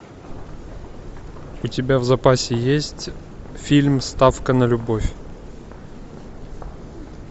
у тебя в запасе есть фильм ставка на любовь